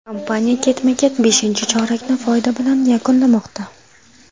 Kompaniya ketma-ket beshinchi chorakni foyda bilan yakunlamoqda.